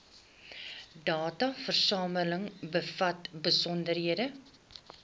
dataversameling bevat besonderhede